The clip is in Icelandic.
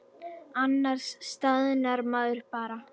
Annars staðnar maður bara.